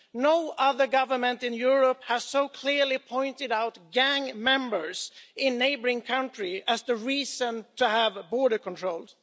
No other government in Europe has so clearly pointed out gang members in a neighbouring country as the reason to have border controls.